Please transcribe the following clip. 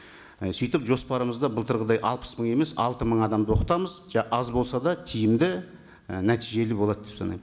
і сөйтіп жоспарымызда былтырғыдай алпыс мың емес алты мың адамды оқытамыз аз болса да тиімді і нәтижелі болады деп санаймын